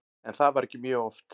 En það var ekki mjög oft.